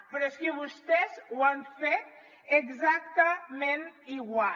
però és que vostès ho han fet exactament igual